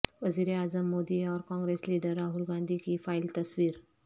وزیرا عظم مودی اور کانگریس لیڈر راہل گاندھی کی فائل تصویر